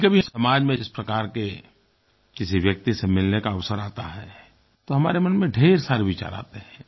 कभीकभी समाज में इस प्रकार के किसी व्यक्ति से मिलने का अवसर आता है तो हमारे मन में ढेर सारे विचार आते हैं